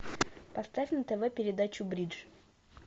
поставь на тв передачу бридж